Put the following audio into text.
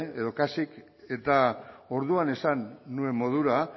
edo kasik eta orduan esan nuen modura